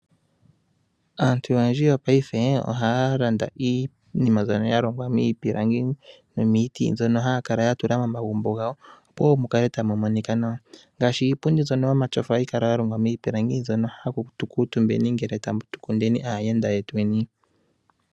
Aantu oyendji wopaife ohaya landa iinima mbyono ya longwa miipilangi nomiiti. Mbyono haya kala ya tula momagumbo gawo, opo mu kale tamu monika nawa. Ngaashi iipundi mbyono yomatyofa ohayi kala ya longwa miipilangi. Mbyono hatu kuutumbeni ngele tatu kundeni aayenda yetweni.